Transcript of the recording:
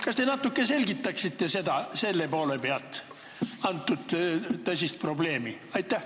Kas te natuke selgitaksite selle poole pealt seda tõsist probleemi?